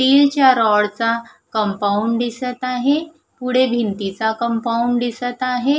Steel च्या rod चा compound दिसत आहे पुढे भिंतीचा कंपाउंड दिसत आहे.